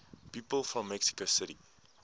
people from mexico city